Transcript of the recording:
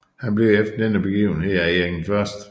Han blev efter denne begivenhed af Erik 1